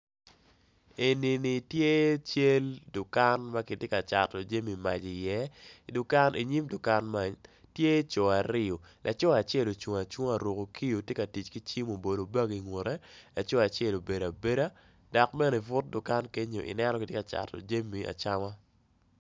Enini tye cal dukan magitye ka cato jami mac i ye i nyim dukan man tye coo aryo ocung acunga oruko kiyo tye ki cim oruko bag i nge laco acel obedo abeda dok bene ibut dukan kenyo ineno gitye kacato jami acama.